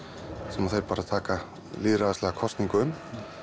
sem þeir bara taka lýðræðislega kosningu um